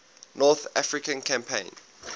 north african campaign